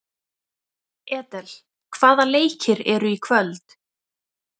Edel, hvaða leikir eru í kvöld?